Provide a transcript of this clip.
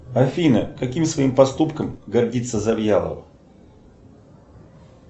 афина каким своим поступком гордится завьялов